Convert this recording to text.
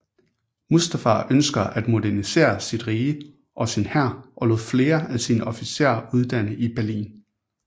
Mustafa ønsker at modernisere sit rige og sin hær og lod flere af sine officer uddanne i Berlin